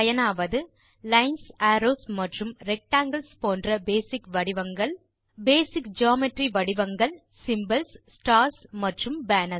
பயனாவது lines arrows மற்றும் rectangles போன்ற பேசிக் வடிவங்கள் பேசிக் ஜியோமெட்ரிக் வடிவங்கள் சிம்போல்ஸ் ஸ்டார்ஸ் மற்றும் பேனர்ஸ்